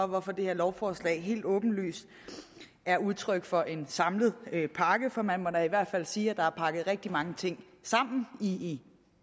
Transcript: hvorfor det her lovforslag helt åbenlyst er udtryk for en samlet pakke for man må da i hvert fald sige at der er pakket rigtig mange ting sammen i